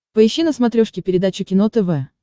поищи на смотрешке передачу кино тв